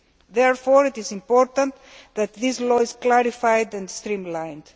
Therefore, it is important that this law be clarified and streamlined.